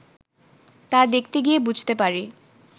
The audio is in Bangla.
তা দেখতে গিয়ে বুঝতে পারি